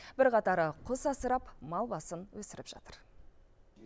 бірқатары құс асырап мал басын өсіріп жатыр